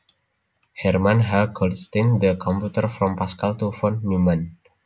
Herman H Goldstine The Computer from Pascal to Von Neumann